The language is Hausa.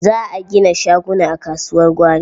Za a gina shaguna a kasuwar gwari.